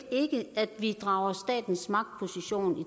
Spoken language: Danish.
at vi drager dens magtposition i